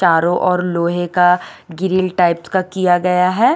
तारो और लोहे का गिल्ली टाइप का किया गया है ।